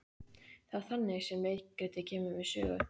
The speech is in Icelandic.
Það er þannig sem leikritið kemur við sögu.